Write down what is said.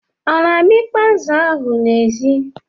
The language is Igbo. Ọ na-amịkpọ azu ahụ n'èzí?